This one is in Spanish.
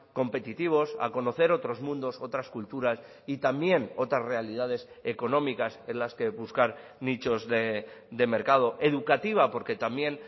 competitivos a conocer otros mundos otras culturas y también otras realidades económicas en las que buscar nichos de mercado educativa porque también